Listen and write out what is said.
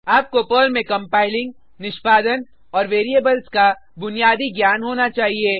आपको पर्ल में कंपाइलिंग निष्पादन औऱ वेरिएबल्स का बुनियाद ज्ञान होना चाहिए